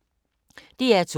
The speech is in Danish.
DR2